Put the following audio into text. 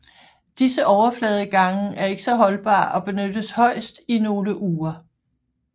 Disse overfladegange er ikke så holdbare og benyttes højst i nogle uger